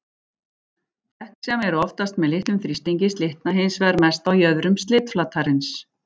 Dekk sem eru oftast með litlum þrýstingi slitna hins vegar mest á jöðrum slitflatarins.